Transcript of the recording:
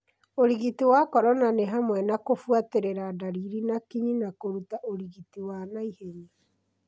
ũrigiti wa corona nĩ hamwe na kũbuatĩrĩra ndariri na kinyi na kũruta ũrigiti wa naihenya.